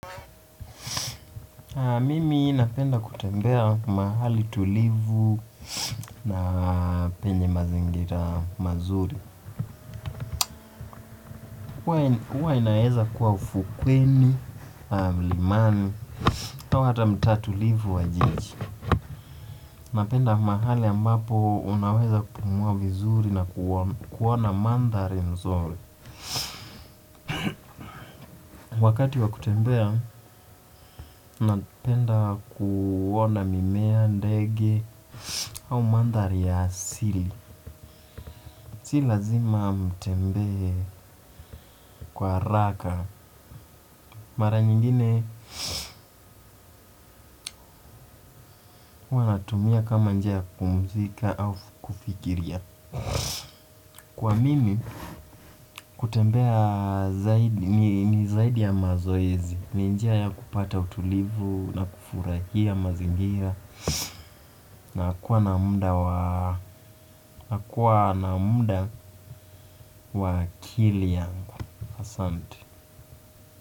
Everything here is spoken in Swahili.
Mimi napenda kutembea mahali tulivu na penye mazingira mazuri. Huwa inaeza kuwa ufukweni, mlimani, au hata mtaa tulivu wa jiji. Napenda mahali ambapo unaweza kupumua vizuri na kuona mandhari mzuri wakati wa kutembea, napenda kuona mimea, ndege, au mandhari ya asili. Si lazima nitembee kwa haraka mara nyingine natumia kama njia kupumzika au kufikiria. Kwa mimi, kutembea ni zaidi ya mazoezi. Ni njia ya kupata utulivu na kufurahia mazingira na kuwa na muda wa akili yangu asante.